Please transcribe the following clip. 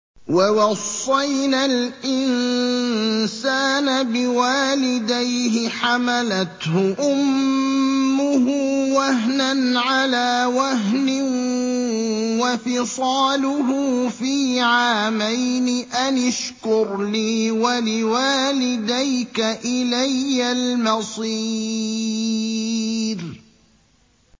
وَوَصَّيْنَا الْإِنسَانَ بِوَالِدَيْهِ حَمَلَتْهُ أُمُّهُ وَهْنًا عَلَىٰ وَهْنٍ وَفِصَالُهُ فِي عَامَيْنِ أَنِ اشْكُرْ لِي وَلِوَالِدَيْكَ إِلَيَّ الْمَصِيرُ